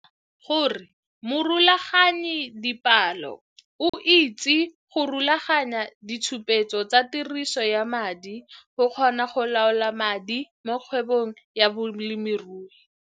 Netefatsa gore morulaganyidipalo o itse go rulaganya ditshupetso tsa tiriso ya madi go kgona go laola madi mo kgwebong ya bolemirui.